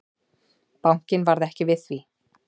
Bankinn varð ekki við því.